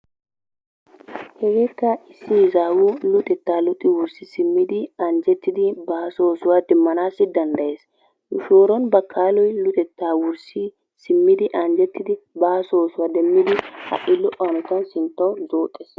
Hegeekka issi izaawu luxettaa luxi wurssi simmidi anjjettidi baaso oosuwa demmanaassi dandayes. Nu shooron bakaaloy luxettaa wurssi simmidi anjjetidi baaso oosuwa demmidi ha"i lo"o hanotan sinttawu zooxees.